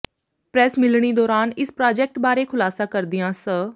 press ਮਿਲਣੀ ਦੌਰਾਨ ਇਸ ਪ੍ਰਾਜੈਕਟ ਬਾਰੇ ਖੁਲਾਸਾ ਕਰਦਿਆਂ ਸ